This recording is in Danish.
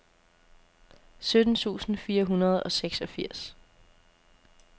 sytten tusind fire hundrede og seksogfirs